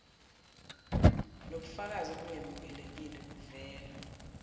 nokubafakazi obungemukelekile buvela